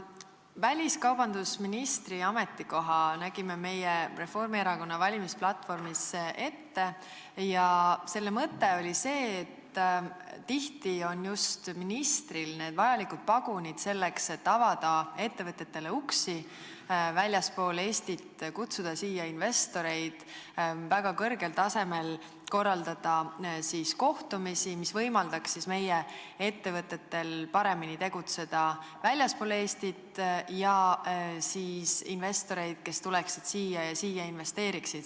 Väliskaubandusministri ametikoha nägime ette meie oma Reformierakonna valimisplatvormis ja selle mõte oli see, et tihti on just ministril need vajalikud pagunid, et avada ettevõtetele uksi väljaspool Eestit, korraldada väga kõrgel tasemel kohtumisi, mis võimaldaks meie ettevõtetel väljaspool Eestit paremini tegutseda, ja kutsuda siia investoreid, kes tuleksid ja investeeriksid siia.